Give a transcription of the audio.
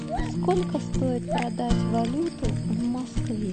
сколько стоит продать валюту в москве